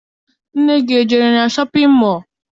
Nne gị ejere na shọpịn mọọ?